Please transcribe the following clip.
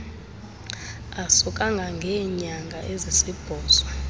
aso kangangeenyanga ezisibhozo